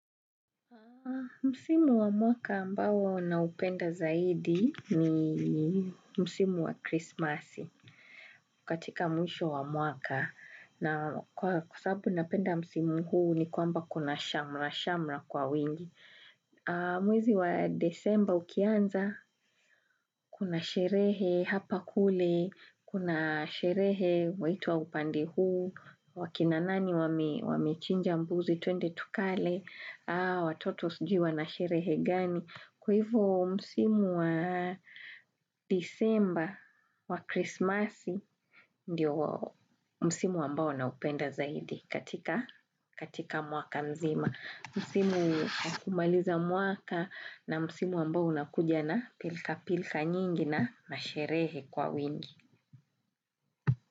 Msimu wa mwaka ambao naupenda zaidi ni Msimu wa krisimasi katika mwisho wa mwaka na kwa sababu napenda Msimu huu ni kwamba kuna shamra shamra kwa wingi. Mwezi wa disemba ukianza, kuna sherehe hapa kule, kuna sherehe waitwa upande huu, akina nani wamechinja mbuzi tuende tukale, watoto sijui wana sherehe gani. Kwa hivyo msimu wa disemba wa krismasi ndio msimu ambao naupenda zaidi katika mwaka mzima. Msimu wa kumaliza mwaka na msimu ambao unakuja na pilka pilka nyingi na masherehe kwa wingi.